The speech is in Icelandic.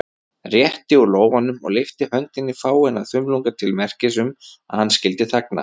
Rétti úr lófanum og lyfti höndinni fáeina þumlunga til merkis um, að hann skyldi þagna.